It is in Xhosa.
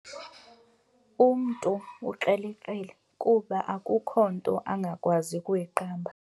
Umntu ukrelekrele kuba akukho nto angakwazi kuyiqamba.